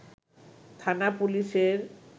থানা পুলিশের